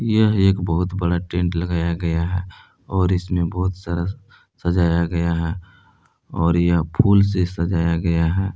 यह एक बहुत बड़ा टेंट लगाया गया है और इसमें बहुत सारा सजाया गया है और यह फूल से सजाया गया है।